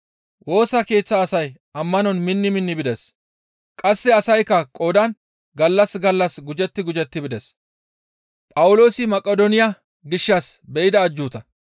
Woosa keeththa asay ammanon minni minni bides; qasse asaykka qoodan gallas gallas gujetti gujetti bides.